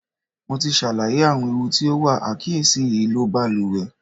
Mo ti ṣàlàyé àwọn ewu tí ó wà àìkíyèsí ìlò baluwẹ̀.